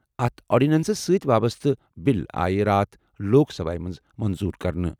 أتھ آرڈیننس سۭتۍ وابسطہٕ بِل آیہِ راتھ لوک سبھایہ منٛز منظوٗر کرنہٕ۔